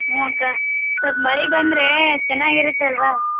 ಹ್ಮ ಅಕ್ಕ ಸ್ವಲ್ಪ ಮಳಿ ಬಂದ್ರೆ ಚೆನ್ನಾಗಿರುತ್ತೆ ಅಲ್ವಾ?